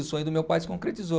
O sonho do meu pai se concretizou.